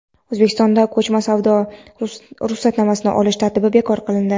O‘zbekistonda ko‘chma savdo uchun ruxsatnoma olish tartibi bekor qilindi.